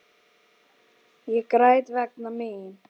Ég græt vegna mín.